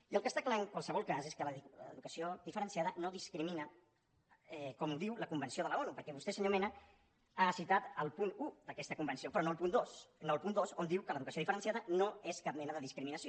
i el que està clar en qualsevol cas és que l’educació diferenciada no discrimina com diu la convenció de l’onu perquè vostè senyor mena ha citat el punt un d’aquesta convenció però no el punt dos no el punt dos on diu que l’educació diferenciada no és cap mena de discriminació